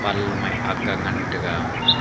pan long e aak ga ngan tega.